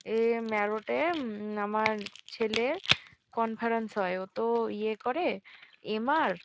এ ম্যারোটে উম আমার ছেলে কনফারেন্স হয় ওতো ইয়ে করে এম.আর ।